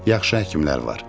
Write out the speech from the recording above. Yaxşı həkimlər var.